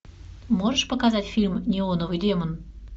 можешь показать фильм неоновый демон